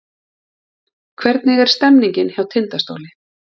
Hvernig er stemningin hjá Tindastóli?